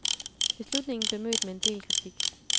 Beslutningen blev mødt med en del kritik.